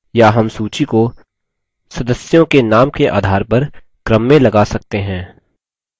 या names सूची को सदस्यों के names के आधार पर क्रम में लगा सकते हैं